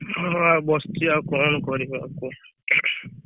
ହଁ ଆଉ ବସିଛି ଆଉ କରିବି ଆଉ କୁହ।